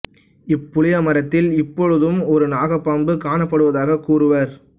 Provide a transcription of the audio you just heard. இப்புளிய மரத்தில் இப்பொழுதும் ஒரு நாக பாம்பு காணப்படுவதாகக் கூறுவர்